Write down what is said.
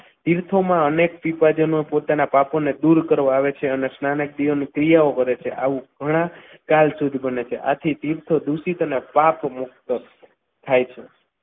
તીર્થોમાં અનેક વિભાજનનો પોતાના પાપોને દૂર કરવા આવે છે અને સ્નાનક દિવાની ક્રિયાઓ કરે છે અને આવું ઘણા ચાલ સુધી બને છે આથી તીર્થો દૂષિત અને પાપના પાપ મુક્ત થાય છે.